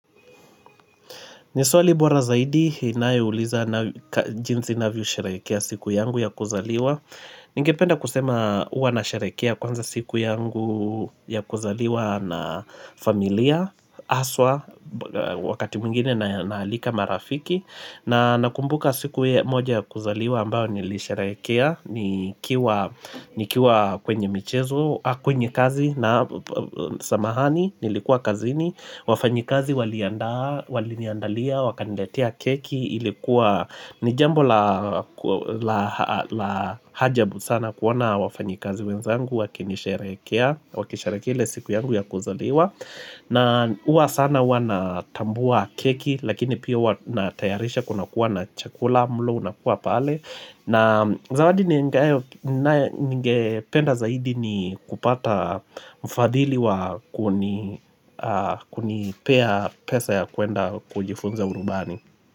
Ni swali bora zaidi inayouliza jinsi navyosherehekea siku yangu ya kuzaliwa. Ningependa kusema huwa nasherehekea kwanza siku yangu ya kuzaliwa na familia, haswa, wakati mwingine naalika marafiki. Na nakumbuka siku moja ya kuzaliwa ambayo nilisherehekea, nikiwa kwenye michezo, kwenye kazi na samahani, nilikuwa kazini. Wafanyikazi waliandaa waliniandalia, wakaniletea keki ilikuwa, ni jambo la ajabu sana kuona wafanyikazi wenzangu wakinisherehekea, wakisherehekea siku yangu ya kuzaliwa na huwa sana huwa natambua keki lakini pia huwa natayarisha kunakuwa na chakula, mlo unakuwa pale na zawadi ningependa zaidi ni kupata mfadhili wa kunipea pesa ya kuenda kujifunza urubani.